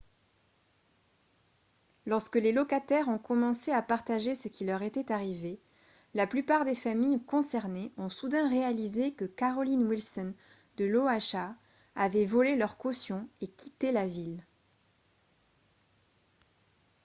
lorsque les locataires ont commencé à partager ce qui leur était arrivé la plupart des familles concernées ont soudain réalisé que carolyn wilson de l'oha avait volé leurs cautions et quitté la ville